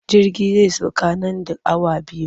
Jirgi zai sauka nan da awa biyu.